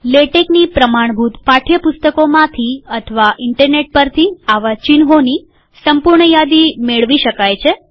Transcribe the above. લેટેકની પ્રમાણભૂત પાઠ્યપુસ્તકોમાંથી અથવા ઇન્ટરનેટ પરથી આવા ચિહ્નોની સંપૂર્ણ યાદી મેળવી શકાય છે